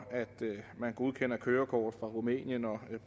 at man godkender kørekort fra rumænien og